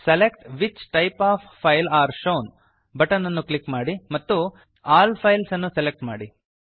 select which types of files are shown button ಅನ್ನು click ಮಾಡಿ ಮತ್ತು ಆಲ್ ಫೈಲ್ಸ್ ಅನ್ನು ಸೆಲೆಕ್ಟ್ ಮಾಡಿ